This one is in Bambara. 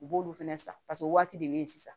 U b'olu fɛnɛ san paseke o waati de bɛ yen sisan